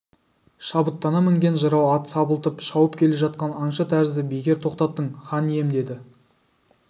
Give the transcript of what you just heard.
шабытына мінген жырау ат сабылтып шауып келе жатқан аңшы тәрізді бекер тоқтаттың хан ием деді